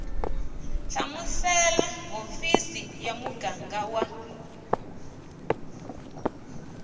hlamusela hofisi ya muganga wa